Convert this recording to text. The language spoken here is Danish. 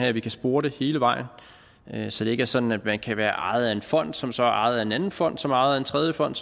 at vi kan spore det hele vejen så det ikke er sådan at man kan være ejet af en fond som så er ejet af en anden fond som er ejet af en tredje fond